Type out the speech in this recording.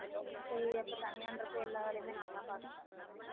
வந்துட்டோம் சரி அப்ப தனியான்றப்ப எல்லா வேலையுமே நான்தான் பார்க்கணும்